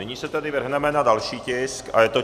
Nyní se tedy vrhneme na další tisk a je to